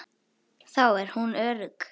Þar er hún örugg.